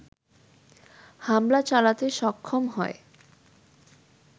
হামলা চালাতে সক্ষম হয়